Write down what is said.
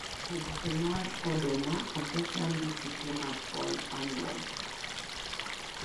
Oboke mar oduma osecham gi kute mag Fall Armywarms.